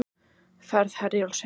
Ferð Herjólfs seinkar